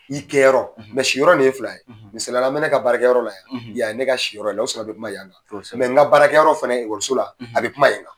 I kɛyɔrɔ siyɔrɔ nin ye fila ye misaliyara an bɛ ne ka baarakɛyɔrɔ la yan, yan ye ne ka siyɔrɔ ye, o la kama an bɛ kuma yan kan n ka baarakɛyɔrɔ fana la a bɛ kuma yen fana kan.